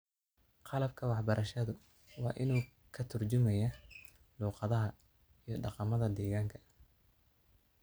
Qalabka waxbarashadu waa in uu ka tarjumayaa luqadaha iyo dhaqamada deegaanka.